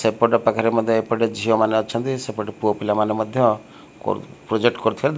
ସେପଟ ପାଖରେ ମଧ୍ଯ ଏପଟେ ଝିଅ ମାନେ ଅଛନ୍ତି ସେପଟ ପୁଅ ପିଲାମାନେ ମଧ୍ଯ ପ୍ରୋଜେକ୍ଟ କରୁଥିବାର।